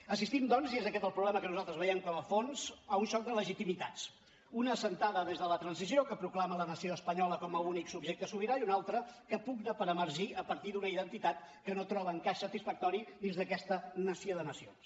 assistim doncs i és aquest el problema que nosaltres veiem com a fons a un xoc de legitimitats una d’assentada des de la transició que proclama la nació espanyola com a únic subjecte sobirà i una altra que pugna per emergir a partir d’una identitat que no troba encaix satisfactori dins d’aquesta nació de nacions